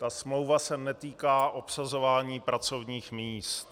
Ta smlouva se netýká obsazování pracovních míst.